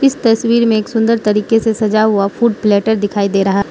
तस्वीर में एक सुंदर तरीके से सजा हुआ फूड प्लेटर दिखाई दे रहा --